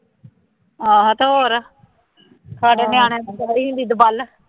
ਆਹੋ ਅਤੇ ਹੋਰ, ਸਾਡੇ ਨਿਆਣੇ ਨੂੰ ਕਹਿੰਦੀ ਹੁੰਦੀ ਸੀ ਦੁਬੱਲ